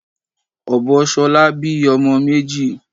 Ọbọ shola bí ọmọ méjì.